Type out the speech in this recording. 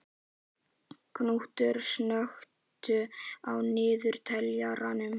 Knútur, slökktu á niðurteljaranum.